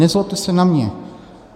Nezlobte se na mě.